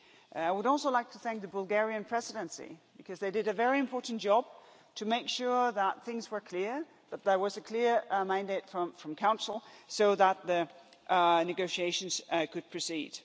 I would also like to thank the Bulgarian Presidency, because they did a very important job to make sure that things were clear, that there was a clear mandate from the Council, so that the negotiations could proceed.